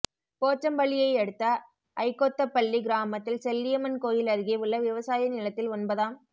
போச்சம்பள்ளியை அடுத்த ஐகொத்தப்பள்ளி கிராமத்தில் செல்லியம்மன் கோயில் அருகே உள்ள விவசாய நிலத்தில் ஒன்பதாம்